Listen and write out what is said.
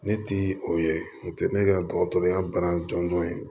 Ne ti o ye o tɛ ne ka dɔgɔtɔrɔya bana jɔnjɔn ye